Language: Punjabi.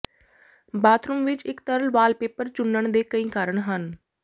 ਬਾਥਰੂਮ ਵਿੱਚ ਇੱਕ ਤਰਲ ਵਾਲਪੇਪਰ ਚੁਣਨ ਦੇ ਕਈ ਕਾਰਨ ਹਨ